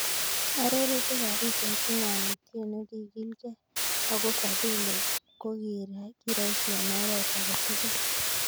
Arorutik ab pichait, Ingawa Otieno kigilke, ako Fadhili kokiraisi eng' oret ake tugul.